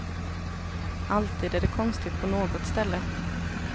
Alltid är det konstigt på något ställe.